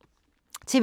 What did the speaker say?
TV 2